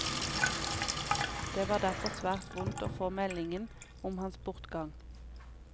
Det var derfor svært vondt å få meldingen om hans bortgang.